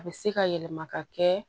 A bɛ se ka yɛlɛma ka kɛ